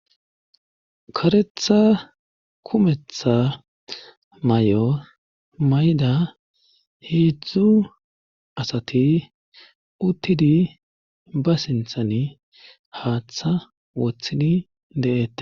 Karetha kumetha may7o mayda heedzdzu asati uttidi ba sinthan haaththa woththidi de7ete